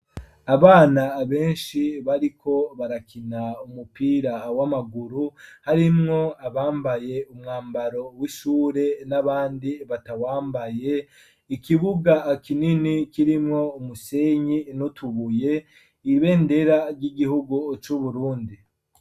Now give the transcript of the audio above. Abana benshi bariko barakina umupira w'amaguru harimwo abambaye umwambaro w'ishure n'abandi batawambaye, ikibuga kinini kirimwo umusenyi n'utubuye, ibendera ry'igihugu c'Uburundi.